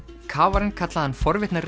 kafarinn kallaði hann forvitna